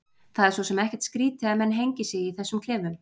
Það er svo sem ekkert skrýtið að menn hengi sig í þessum klefum.